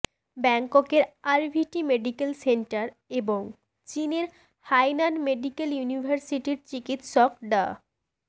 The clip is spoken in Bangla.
ব্যাংককের আরভিটি মেডিকেল সেন্টার এবং চীনের হাইনান মেডিকেল ইউনিভার্সিটির চিকিৎসক ডা